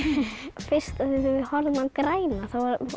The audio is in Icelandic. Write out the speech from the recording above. fyrst þegar við horfðum á græna þá